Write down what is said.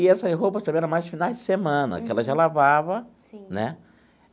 E essas roupas também era mais de finais de semana, porque ela já lavava. Sim. Né.